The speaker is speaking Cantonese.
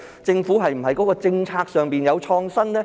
是否在政策上有創新呢？